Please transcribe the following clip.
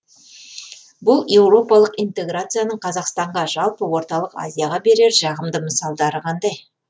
бұл еуропалық интеграцияның қазақстанға жалпы орталық азияға берер жағымды мысалдары қандай